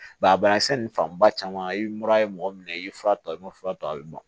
a banakisɛ ninnu fanba caman ye mura ye mɔgɔ minɛ i ye fura ta i ma fura ta a bɛ bɔn